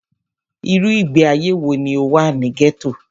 Irú ìgbé ayé wọ ní o wà ní gẹ́tò?